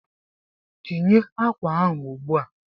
Tinye akwa ahụ ugbu a!